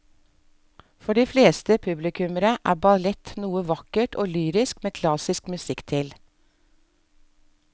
For de fleste publikummere er ballett noe vakkert og lyrisk med klassisk musikk til.